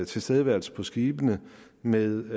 tilstedeværelse på skibene med